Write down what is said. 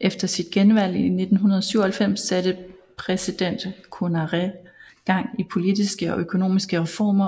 Efter sit genvalg i 1997 satte præsident Konaré gang i politiske og økonomiske reformer